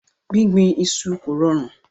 Gbígbìn iṣu kò rọrùn.